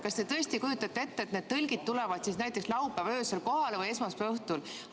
Kas te tõesti kujutate ette, et need tõlgid tulevad siis kohale laupäeva öösel või esmaspäeva õhtul?